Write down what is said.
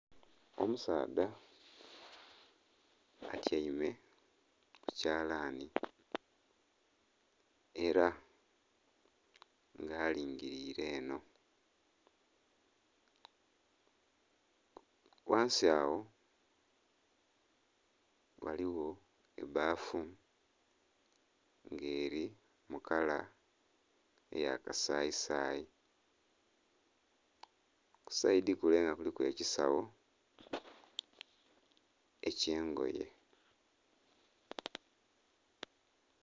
Omusaadha atyaime kukyalani era nga alingirire eno ghansi agho ghaligho ebbafu nga eri mukala eya kasayisayi kusaidhi kule nga kuliku ekisawo ekyengoye.